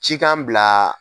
Ci k'an bila.